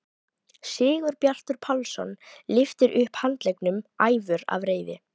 Sigurbjartur Pálsson lyftir upp handleggnum æfur af reiði.